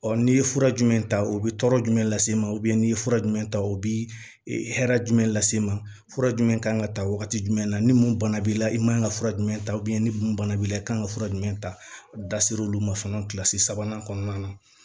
Ɔ n'i ye fura jumɛn ta o bɛ tɔɔrɔ jumɛn lase ma ubiyɛn n'i ye fura jumɛn ta o bi hɛrɛ jumɛn lase i ma fura jumɛn kan ŋa ta wagati jumɛn na ni mun bana b'i la i man kan ka fura jumɛn ta ni mun bana b'i la i kan ka fura jumɛn ta ser'olu ma fɔlɔ kilasi sabanan kɔnɔna na